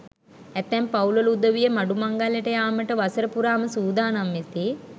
ඇතැම් පවුල් වල උදවිය මඩු මංගල්‍යයට යාමට වසර පුරාම සූදානම් වෙති.